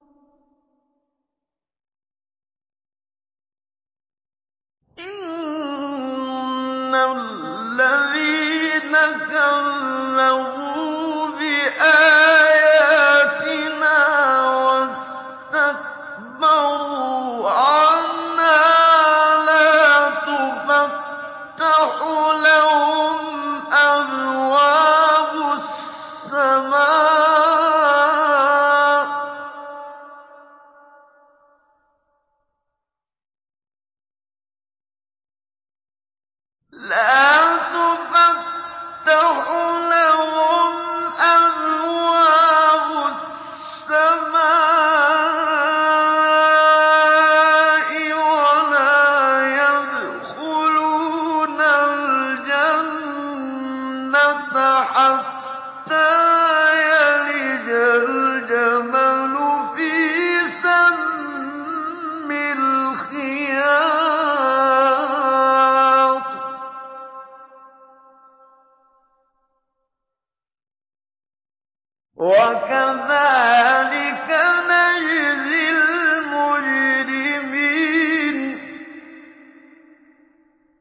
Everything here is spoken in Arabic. إِنَّ الَّذِينَ كَذَّبُوا بِآيَاتِنَا وَاسْتَكْبَرُوا عَنْهَا لَا تُفَتَّحُ لَهُمْ أَبْوَابُ السَّمَاءِ وَلَا يَدْخُلُونَ الْجَنَّةَ حَتَّىٰ يَلِجَ الْجَمَلُ فِي سَمِّ الْخِيَاطِ ۚ وَكَذَٰلِكَ نَجْزِي الْمُجْرِمِينَ